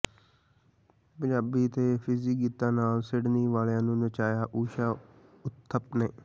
ਪੰਜਾਬੀ ਤੇ ਫਿਜ਼ੀ ਗੀਤਾਂ ਨਾਲ ਸਿਡਨੀ ਵਾਲਿਆਂ ਨੂੰ ਨਚਾਇਆ ਊਸ਼ਾ ਉਥਪ ਨੇ